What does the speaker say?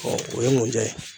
o ye mun ja ye